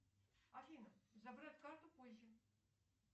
афина забрать карту позже